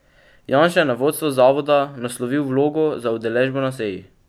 Janša je na vodstvo zavoda naslovil vlogo za udeležbo na seji.